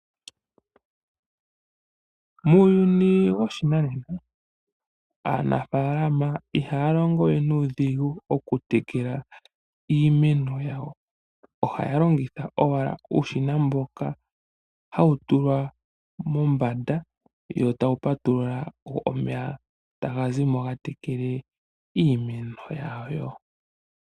Muuyuni woshinanena aanafaalama ihaya longo we nuudhigu okutekela iimeno yawo. Ohaya longitha owala uushina mboka hawu tulwa mombanda yo taya patulula omeya etaga zimo ga tekele iimeno yawo.